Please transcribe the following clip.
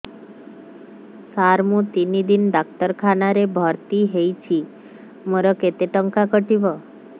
ସାର ମୁ ତିନି ଦିନ ଡାକ୍ତରଖାନା ରେ ଭର୍ତି ହେଇଛି ମୋର କେତେ ଟଙ୍କା କଟିବ